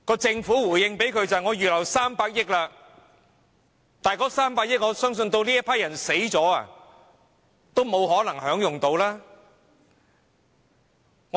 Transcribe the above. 政府的回應是已預留300億元，但我相信這批人離世時都不可能受惠於這300億元。